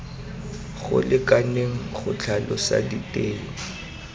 go lekaneng go tlhalosa diteng